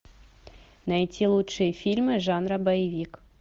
найти лучшие фильмы жанра боевик